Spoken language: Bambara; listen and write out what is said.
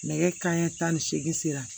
Nɛgɛ kanɲɛ tan ni seegin sera